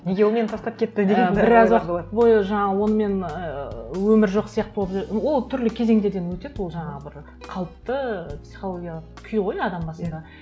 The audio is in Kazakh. неге ол мені тастап кетті деген і біраз уақыт бойы жаңағы оны мен ыыы өмір жоқ сияқты болып ол түрлі кезеңдерден өтеді ол жаңағы бір қалыпты психологиялық күй ғой адам басында